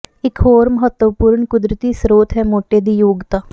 ਇੱਕ ਹੋਰ ਮਹੱਤਵਪੂਰਨ ਕੁਦਰਤੀ ਸਰੋਤ ਹੈ ਮੋਟੇ ਦੀ ਯੋਗਤਾ